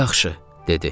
Yaxşı, dedi.